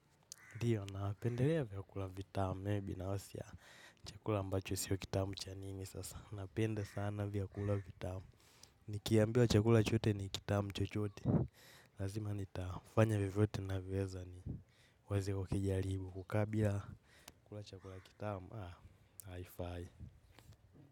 Ndiyo na pendelea vyakula vitamu, meibi nawosia chakula ambacho siyo kitamu cha nini, sasa na pende sana vyakulavi tamu, nikiambia chakula chote ni kitamu chochote, lazima nitafanya vivyote na vweza ni wazi kukijaribu, kukabila kula chakula kitamu, haa, haifai.